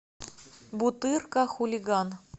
бутырка хулиган